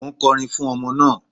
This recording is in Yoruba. Mò ń kọrin fún ọmọ náà.